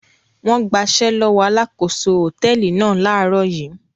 Wọ́n gbaṣẹ́ lọ́wọ́ alákòóso hòtẹ́ẹ́lì náà láàárọ̀ yìí.